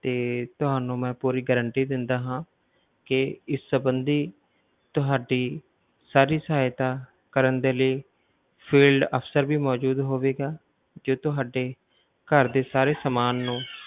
ਤੇ ਤੁਹਾਨੂੰ ਮੈਂ ਪੂਰੀ guarantee ਦਿੰਦਾ ਹਾਂ ਕਿ ਇਸ ਸਬੰਧੀ ਤੁਹਾਡੀ ਸਾਰੀ ਸਹਾਇਤਾ ਕਰਨ ਦੇ ਲਈ field officer ਵੀ ਮੌਜੂਦ ਹੋਵੇਗਾ ਜੋ ਤੁਹਾਡੇ ਘਰ ਦੇ ਸਾਰੇ ਸਮਾਨ ਨੂੰ